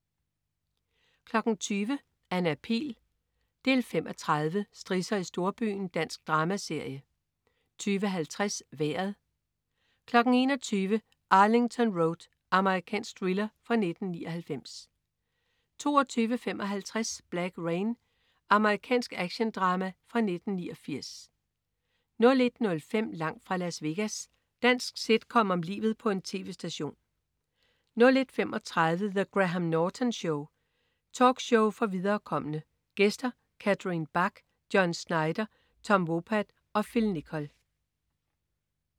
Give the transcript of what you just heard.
20.00 Anna Pihl 5:30. Strisser i storbyen. Dansk dramaserie 20.50 Vejret 21.00 Arlington Road. Amerikansk thriller fra 1999 22.55 Black Rain. Amerikansk actiondrama fra 1989 01.05 Langt fra Las Vegas. Dansk sitcom om livet på en tv-station 01.35 The Graham Norton Show. Talkshow for viderekomne. Gæster: Catherine Bach, John Schneider, Tom Wopat og Phil Nicol